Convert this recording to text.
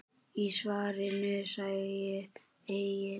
Í svarinu segir einnig